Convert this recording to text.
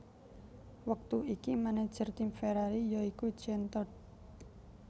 Wektu iki manajer tim Ferrari ya iku Jean Todt